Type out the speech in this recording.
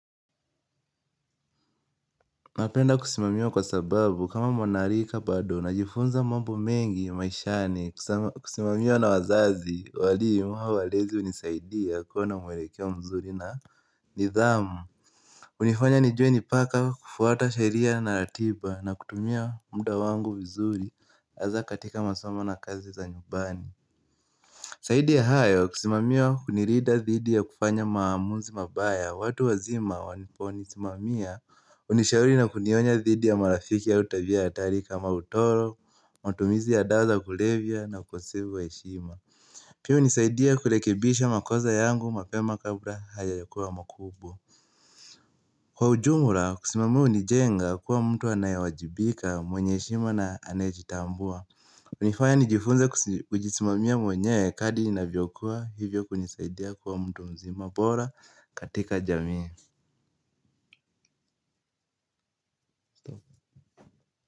Napenda kusimamiwa kwa sababu kama mwanarika bado najifunza mambo mengi maishani kusimamiwa na wazazi, walimu au walezi unisaidia kuona mwelekeo mzuri na nidhamu. Unifanya nijue nipaka kufuata sheria na ratiba na kutumia mda wangu vizuri aza katika masomo na kazi za nyubani. Saidi ya hayo kusimamiwa unirida dhidi ya kufanya maamuzi mabaya watu wazima wanaponisimamia unishauri na kunionya dhidi ya marafiki ya utabia ya hatari kama utoro, matumizi ya dawa za kulevya na ukosevu wa heshima Pia unisaidia kulekebisha makoza yangu mapema kabla hayajakuwa makubu. Kwa ujumura kusimamiwa unijenga kuwa mtu anayewajibika, mwenye heshima na anayejitambua. Unifanya nijifunza kujisimamia mwenyewe kadi inavyokuwa hivyo kunisaidia kuwa mtu mzima bora katika jamii.